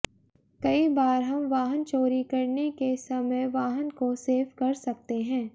कई बार हम वाहन चोरी करने के समय वाहन को सेफ कर सकते हैं